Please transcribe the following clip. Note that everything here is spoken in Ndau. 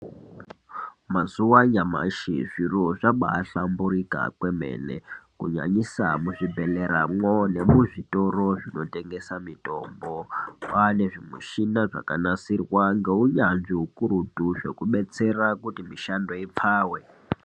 Mazuwa anyamashi zviro zvabahlamburika kwemene kunyanyisa kuzvibhedhleramwo nemuzvitoro zvinotengesa mitombo kwane zvimushina zvakanasirwa ngeunyanzvi zvekudetsera kuti mishando ikwawe.